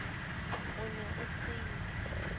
o ne o se yo